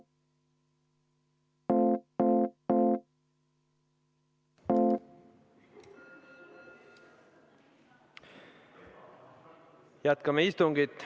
Jätkame istungit.